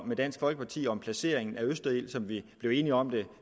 med dansk folkeparti om placeringen af østerild som vi blev enige om det